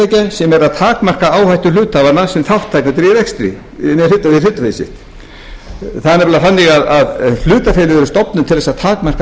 sem er að takmarka áhættu hluthafanna sem þátttakendur í rekstri með hlut það er nefnilega þannig að hlutafélög eru stofnuð til að takmarka